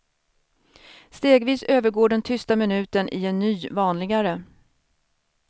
Stegvis övergår den tysta minuten i en ny, vanligare.